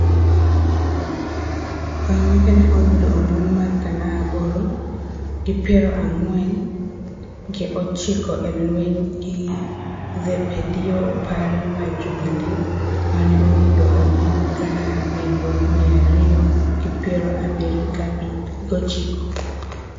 Oimeke ne oyudo ombulu gana aboro, gi piero ang'wen gi ochiko e lweny gi Zepedeo Opore mar Jubilee mane oyudo ombulu gana abiriyo, mia ariyo gi piero abiriyo gi ochiko.